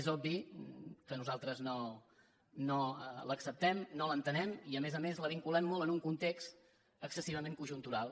és obvi que nosaltres no l’acceptem no l’entenem i a més a més la vinculem en un context excessivament conjuntural